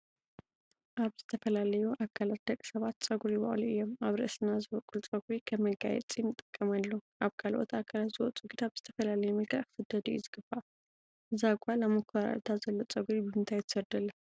ኣብ ዝተፈላለዩ ኣካላት ደቂ ሰባት ፀጉሪ ይበቅሉ እዮም ኣብ ርእስና ዝበቁል ፀጉሪ ከም መጋየፂ ንጥቀመሉ ኣብ ካልኦት ኣካላት ዝውፁ ግና ብዝተፈላለዩ መልክዕ ክስደዱ እዩ ዝግባእ። እዛ ጓል ኣብ ሞኮራኩዕታ ዘሎ ፀጉሪ ብምንታይ ትሰዶ ኣላ?